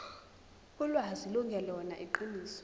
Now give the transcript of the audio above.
ulwazi lungelona iqiniso